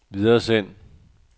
videresend